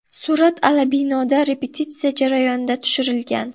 Surat Alabinoda repetitsiya jarayonida tushirilgan.